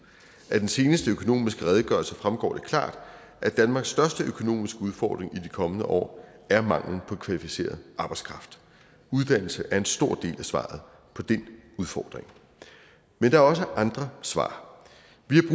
af den seneste økonomiske redegørelse fremgår det klart at danmarks største økonomiske udfordring i de kommende år er manglen på kvalificeret arbejdskraft uddannelse er en stor del af svaret på den udfordring men der er også andre svar